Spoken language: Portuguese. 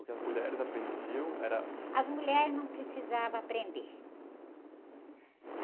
O que as mulheres aprendiam era...s mulheres não precisavam aprender.